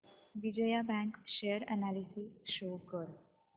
Vijaya bank share analysis show कर